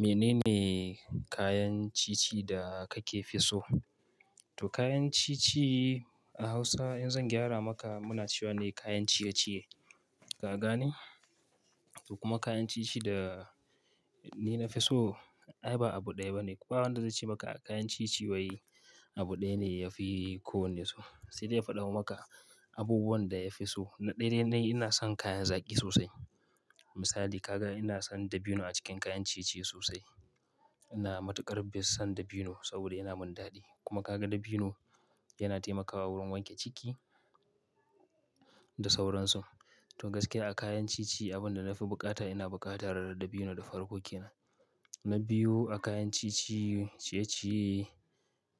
Mene ne kayan ciye-ciye da kake so? To kayan ci-ci a Hausa in zan gyara maka muna cewa ne kayan ciye-ciye. Ka gane? To kuma kayan ci-ci da ni na fi so ai ba abu ɗaya ba ne. Kuma ba wanda zai ce maka a kayan ci-ci wai abu ɗaya ne yafi ko wane so. Sai dai ya faɗa maka abubuwan da ya fi so. Na ɗaya dai ina son kayan zaƙi sosai. Misali ka ga ina son dabino a cikin kayan ciye-ciye sosai. Ina matuƙar bin son dabino saboda yana min daɗi. Kuma ka ga dabino yana taimakawa wurin wanke ciki da sauransu. To gaskiya a kayan ciye-ciye abin da na fi buƙata ina buƙatar dabino da farko ke nan. Na biyu a kayan ci-ci, ciye ciye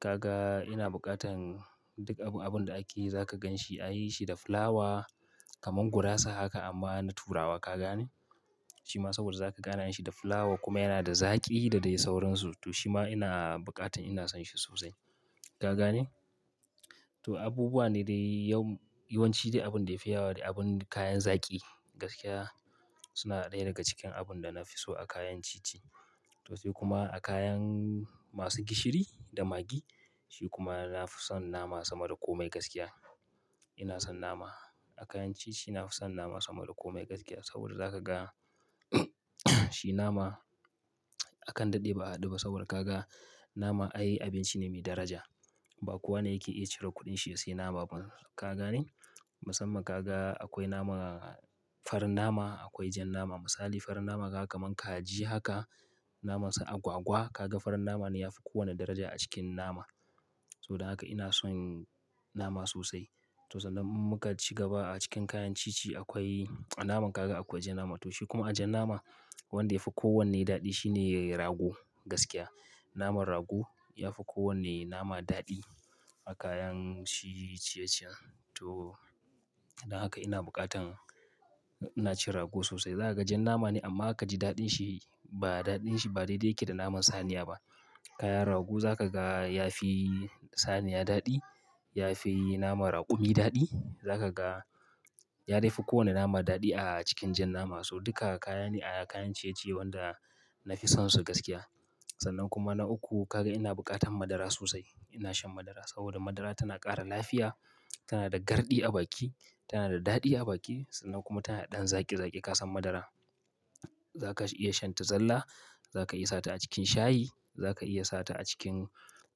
ka ga ina buƙatan duk abin da ake zaka gan shi an yi shi da fulawa kaman gurasa haka amma na turawa. Ka gane? Shi ma saboda za ka gane an yi shi da fulawa kuma yana da zaƙi da dai sauransu. To shi ma ina buƙatan ina son shi sosai. Ka gane? To abubuwa ne da yawan ci dai abun da ya fi yawa dai abun kayan zaƙi gaskiya suna ɗaya daga cikin abun da na fi so a kayan ci-ci. To sai kuma a kayan masu gishiri da magi. Shi kuma na fi son nama sama da kome gaskiya. Ina son nama. A kayan ciye-ciye na fi son nama sama da kome gaskiya saboda za ka ga shi nama akan daɗe ba a haduba. Saboda ka ga nama ai abinci ne mai daraja. Ba kowa ne yake iya cire kuɗin shi ya sayi nama ba. Ka gane? Musamman ka ga akwai nama farin nama, akwai jan nama. Misali farin nama ka kamon kaji haka, naman su agwagwa. Ka ga farin nama ne yafi kowane daraja a cikin nama. Don haka ina son nama sosai. To sannan inmuka ciga ba a cikin kayan ci-ci akwai naman kaza akwai jan nama. To shi kuma a jan nama wanda ya fi kowanne daɗi shine rago gaskiya. Naman rago ya fi kowane nama daɗi a kayan shi ciye-ciyen. To don haka ina buƙatan ina cin rago sosai. Zaka ga jan nama ne amma za ka ji daɗin shi ba da ɗin shi ba daidai yake da naman saniya ba. Kayan rago za ka ga ya fi saniya daɗi, ya fi naman raƙumi daɗi. Za ka ga ya daifi kowane nama daɗi a cikin jan nama. So duka kaya ne a kayan ciye-ciye wanda na fi sonsu gaskiya. Sannan kuma na uku ka ga ina buƙatan madara sosai. Ina shan madara saboda madara tana ƙara lafiya, tana da garɗi a baki, tana da daɗi a baki sannan kuma tana da ɗan zaƙi zaƙi. Ka san madara zaka iya shan ta zalla, zaka iya sata a cikin shayi, zaka iya sata a cikin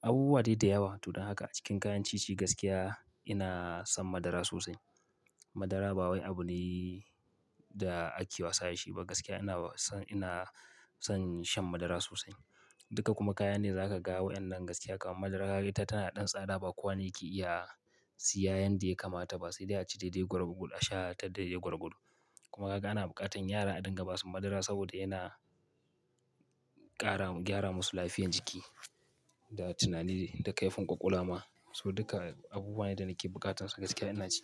abubuwa dai da yawa. To don haka a cikin kayan ci-ci gaskiya ina son madara sosai. Madara ba wai abune da ake wasa da shi ba gaskiya. Ina son, ina son shan madara sosai. Duka kuma kayan ne za ka ga wayannan gaskiya kaman madara kaga ita tana da ɗan tsada. Ba kowa ne yake iya siya yanda ya kamata ba. Sai dai a ci daidai gwargwadon a sha ta daidai gwargwadon. Kuma ka ga ina buƙatan yara a dinga basu madara saboda yana ƙara gyara musu lafiyan jiki da tunani da kaifin ƙwaƙwalwa ma. So duka abubuwa ne da nake buƙatar su gaskiya ina ci.